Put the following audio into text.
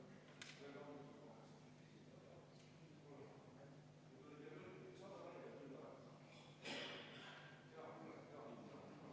Härra Põlluaas, muudatusettepaneku hääletusele panemisel piisab, kui öelda, et soovin hääletust.